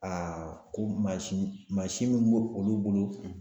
ko mansin mansin min b'o olu bolo